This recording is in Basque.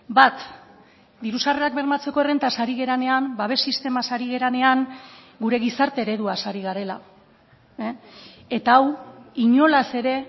bat diru sarrerak bermatzeko errentaz ari garenean babes sistemaz ari garenean gure gizarte ereduaz ari garela eta hau inolaz ere